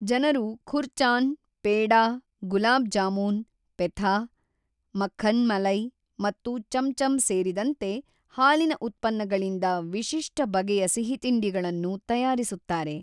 ಜನರು ಖುರ್ಚಾನ್, ಪೆಡಾ, ಗುಲಾಬ್ ಜಾಮೂನ್, ಪೆಥಾ, ಮಖನ್ ಮಲೈ ಮತ್ತು ಚಮ್‌ಚಮ್‌ ಸೇರಿದಂತೆ ಹಾಲಿನ ಉತ್ಪನ್ನಗಳಿಂದ ವಿಶಿಷ್ಟ ಬಗೆಯ ಸಿಹಿತಿಂಡಿಗಳನ್ನು ತಯಾರಿಸುತ್ತಾರೆ.